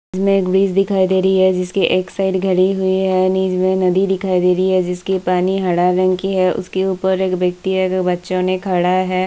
इसमें एक ब्रिज दिखाई दे रही है जिसके एक साइड हुई है इसमें नदी दिखाई दे रही है जिसकी पानी हरा रंग की है उसके ऊपर एक व्यक्ति है वे बच्चो ने खड़ा है।